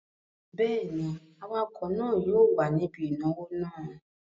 Bẹ́ẹ̀ ni, awakọ̀ náà yóò wà níbí ìnáwó náà.